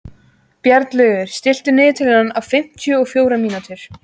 Bjarnlaugur, stilltu niðurteljara á fimmtíu og fjórar mínútur.